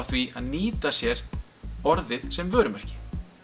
því að nýta sér orðið sem vörumerki